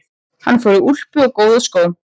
Hann fór í úlpu og góða skó.